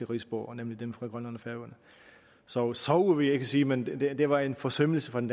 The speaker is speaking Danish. rigsborgere nemlig dem fra grønland og færøerne så sove vil jeg ikke sige men det var en forsømmelse fra den